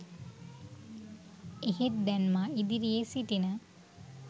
එහෙත් දැන් මා ඉදිරියේ සිටින